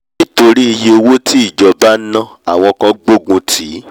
nítorí iyé owó tí ìjọba ná àwọn kan gbógun tì